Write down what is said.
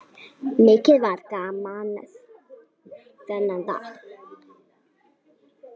Mikið var gaman þennan dag.